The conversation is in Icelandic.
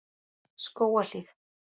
Skógahlíð